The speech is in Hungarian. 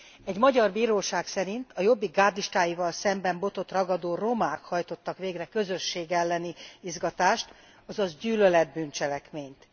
Egy magyar bíróság szerint a Jobbik gárdistáival szemben botot ragadó romák hajtottak végre közösség elleni izgatást, azaz gyűlölet bűncselekményt.